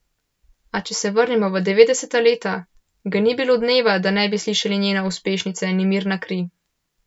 A če se vrnemo v devetdeseta leta, ga ni bilo dneva, da ne bi slišali njene uspešnice Nemirna kri.